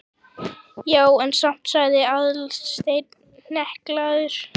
Já, en samt sagði Aðalsteinn hneykslaður.